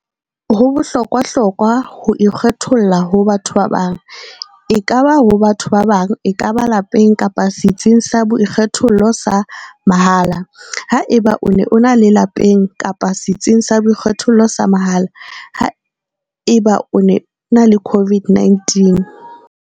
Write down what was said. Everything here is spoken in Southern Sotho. Ho bohlokwahlokwa ho ikgetholla ho ikgetholla ho batho ba bang, ekaba ho batho ba bang, ekaba lapeng kapa setsing sa boikgethollo sa mahala, haeba o ena le lapeng kapa setsing sa boikgethollo sa mahala, haeba o ena le COVID-19.